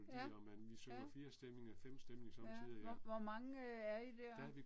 Ja, ja. Ja. Hvor hvor mange er I der?